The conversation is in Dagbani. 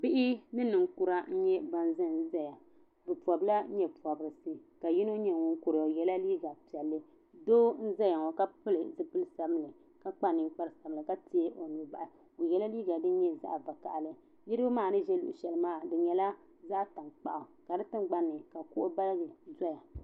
Bihi ni ninkurah n nye ba Zan zaya. Be pobila nye pobirisi. ka yino nye ŋun kura, o yela liiga pielli. Doo n zaya ŋɔ ka pili zibili sabinli ka kpa ninkpara sabila ka teegi o nuu bahi. O ye liiga din nye zaɣ' vakahili. Niriba maa ni be sheli polo maa di nyela zaɣ' tankpaɣu ka di tangbani ka kuɣu balibu zeya.